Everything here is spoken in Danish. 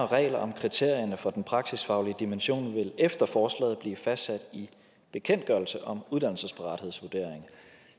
regler om kriterierne for den praksisfaglige dimension vil efter forslaget blive fastsat i bekendtgørelse om uddannelsesparathedsvurdering